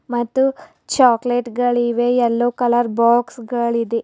ಮತ್ತು ಚಾಕಲೇಟ್ ಗಳಿವೆ yellow colour box ಗಳಿದೆ.